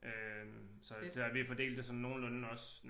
Øh så der vi har fordelt det sådan nogenlunde også